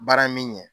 Baara min ɲɛ